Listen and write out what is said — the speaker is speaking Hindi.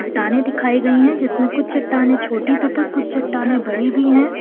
टाने दिखाई गई हैं जिसमें कुछ चट्टानें छोटी तथा कुछ चट्टानें बड़ी भी हैं।